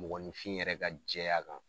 Mɔgɔnfin yɛrɛ ka jɛya kan.